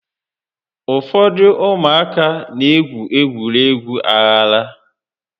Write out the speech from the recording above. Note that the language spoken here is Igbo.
Ụfọdụ ụmụaka n'egwu egwuregwu aghara